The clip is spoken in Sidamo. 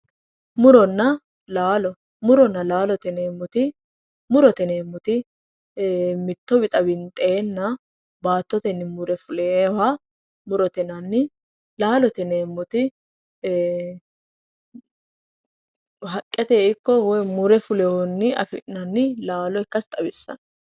muronna laalo muronna laalo murote yineemmoti mitto wixa winxeenna baattotenni mure fuleewoha murote yinanni laalote yineemmoti ee haqqetenni ikko mure fuleewohunni afi'nannita xawissannno